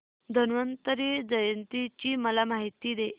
धन्वंतरी जयंती ची मला माहिती दे